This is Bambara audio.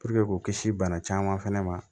k'u kisi bana caman fɛnɛ ma